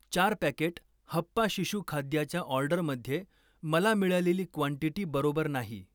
चार पॅकेट हप्पा शिशु खाद्याच्या ऑर्डरमध्ये मला मिळालेली क्वांटिटी बरोबर नाही.